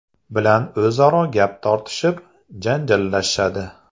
bilan o‘zaro gap tortishib, janjallashadi.